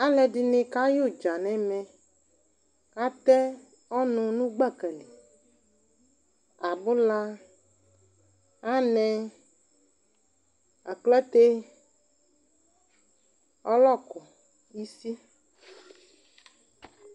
alɛdini kayu dza nɛ ɛmɛ katɛ ɔnu nu gbakali abula anɛ aklaté ɔlɔku isi